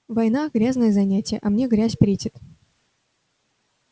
война грязное занятие а мне грязь претит